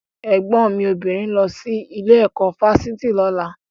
Ẹ̀gbọ́n mi obìnrin ń lọ sí ilé ẹ̀kọ́ fáfitì lọ́la.